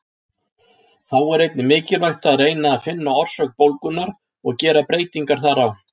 Þá er einnig mikilvægt að reyna að finna orsök bólgunnar og gera breytingar þar á.